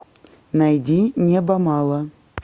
найди неба мало